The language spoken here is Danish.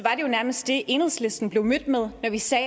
jo nærmest det enhedslisten blev mødt med når vi sagde